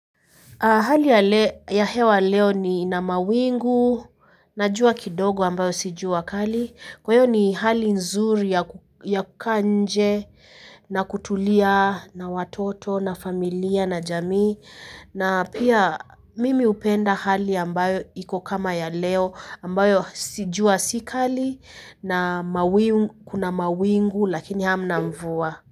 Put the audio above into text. Hali ya hewa leo ni ina mawingu na jua kidogo ambayo si jua kali. Kwa hiyo ni hali nzuri ya kukaa nje na kutulia na watoto na familia na jamii. Na pia mimi hupenda hali ambayo iko kama ya leo ambayo jua si kali na mawingu kuna mawingu lakini hamna mvua.